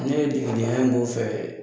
Ne de ye degedenya in k'o fɛ